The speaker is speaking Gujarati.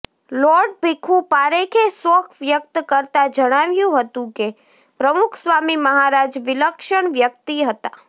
લોર્ડ ભીખુ પારેખે શોક વ્યક્ત કરતા જણાવ્યું હતું કે પ્રમુખ સ્વામી મહારાજ વિલક્ષણ વ્યક્તિ હતા